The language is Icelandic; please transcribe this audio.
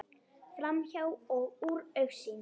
Framhjá og úr augsýn.